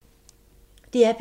DR P2